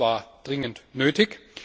Ich denke, das war dringend nötig.